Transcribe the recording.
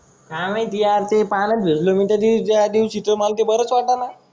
काय माहिती यार ते पाण्यात भिजलो मी त्या दिवशी ज्या दिवशी ते मला बरच वाटना.